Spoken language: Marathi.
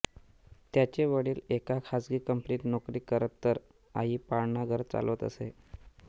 त्याचे वडील एका खासगी कंपनीत नोकरी करत तर आई पाळणाघर चालवत असे